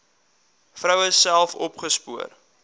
vroue self opgespoor